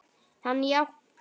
Hann jánkar.